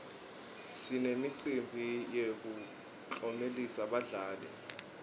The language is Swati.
sinemicimbi yekuklomelisa badlali